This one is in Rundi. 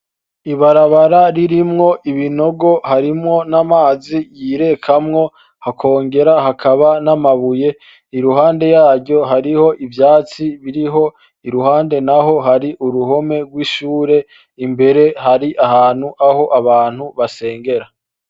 Ibarabara ririmwo ibinogo, harimwo amazi yirekamwo hakongera hakaba n'amabuye, iruhande yaryo hariho ivyatsi biriho, iruhande naho har'uruhome rw'ishure, imber har'ahantu aho abantu basengera.